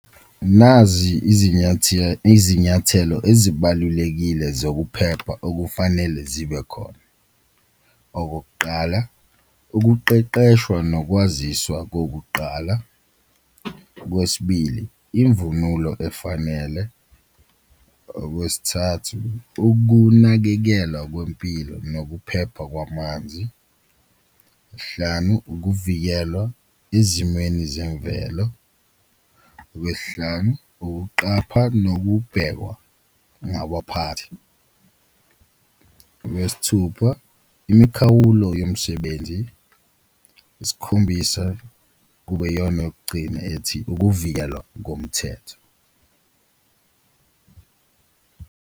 Nazi izinyathelo ezibalulekile zokuphepha okufanele zibe khona, okokuqala ukuqeqeshwa nokwaziswa kokuqala, okwesibili imvunulo efanele, okwesithathu ukunakekelwa kwempilo nokuphepha kwamanzi, hlanu ukuvikelwa ezimweni zemvelo. Okwesihlanu, ukuqapha nokubhekwa , okwesithupha imikhawulo yomsebenzi, isikhombisa kube iyona yokugcina ethi, ukuvikelwa komthetho.